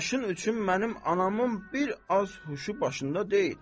Başın üçün mənim anamın bir az huşu başında deyil.